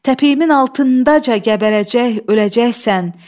təpiyimin altındaca qəbərəcək, öləcəksən.